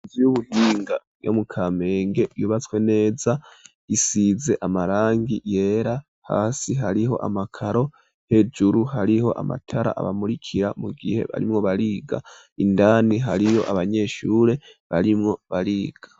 Inzu y'ububinga yo mukamenge yubatswe neza isize amarangi yera hasi hariho amakaro hejuru hariho amatara abamurikira mu gihe barimwo bariga indani hariyo abanyeshure barimwo bariga.